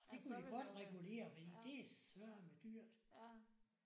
Det kunne de godt regulere fordi det søreme dyrt